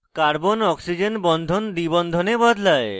carbonoxygen carbonoxygen bond দ্বিবন্ধনে বদলায়